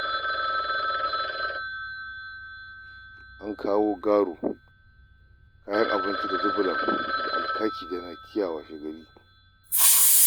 An kawo garo kayan abinci da dubulan da alkaki da naki washegari.